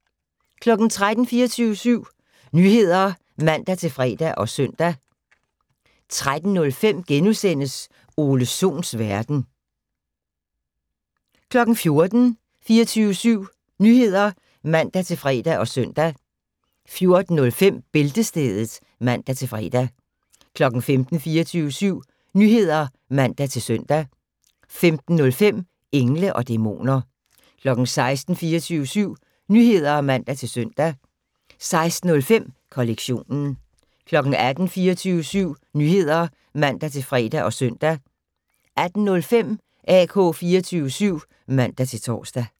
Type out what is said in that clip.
13:00: 24syv Nyheder (man-fre og søn) 13:05: Ole Sohns verden * 14:00: 24syv Nyheder (man-fre og søn) 14:05: Bæltestedet (man-fre) 15:00: 24syv Nyheder (man-søn) 15:05: Engle og Dæmoner 16:00: 24syv Nyheder (man-søn) 16:05: Kollektionen 18:00: 24syv Nyheder (man-fre og søn) 18:05: AK 24syv (man-tor)